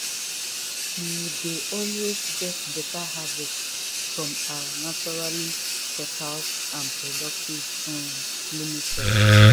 we dey always get beta harvest from our naturally fertile and productive um loamy soil.